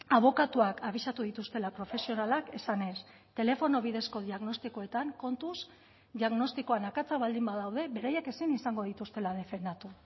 abokatuak abisatu dituztela profesionalak esanez telefono bidezko diagnostikoetan kontuz diagnostikoan akatsak baldin badaude beraiek ezin izango dituztela defendatu